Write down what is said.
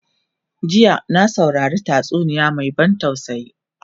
jiya na saurari tatsuniya Mai ban tausayi